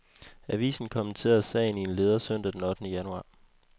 Avisen kommenterede sagen i en leder søndag den ottende januar.